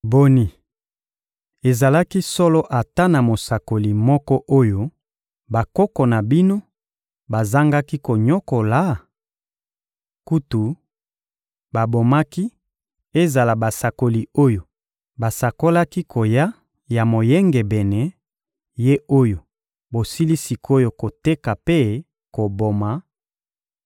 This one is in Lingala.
Boni, ezalaki solo ata na mosakoli moko oyo bakoko na bino bazangaki konyokola? Kutu, babomaki ezala basakoli oyo basakolaki koya ya Moyengebene, Ye oyo bosili sik’oyo koteka mpe koboma,